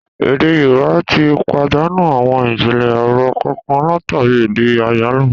Èdè Yorùbá tí pàdánù àwọn ijinlẹ ọ̀rọ̀ kànkan látàri èdè àyálò